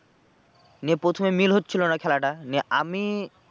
নিয়ে প্রথমে মিল হচ্ছিলো না খেলাটা নিয়ে আমি